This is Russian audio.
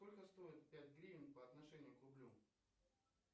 сколько стоит пять гривен по отношению к рублю